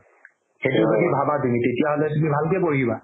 সেইটো যদি ভাবা তুমি তেতিয়া হ'লে তুমি ভালকে পঢ়িবা